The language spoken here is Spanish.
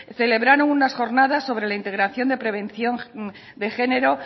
celebraron unas jornadas sobre la integración de prevención de género